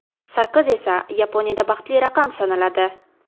Sakkiz esa Yaponiyada baxtli raqam sanaladi.